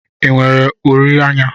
I nwere uri anya?